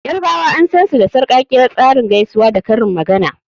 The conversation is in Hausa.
Yarbawa an sansu da sarkakkiyar tsarin gaisuwa da karin magana.